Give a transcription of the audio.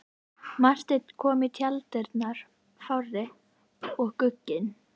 Marteinn kom í tjalddyrnar fár og gugginn.